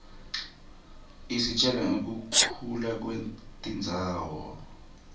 isitjela nqekuhluka kwetindzawo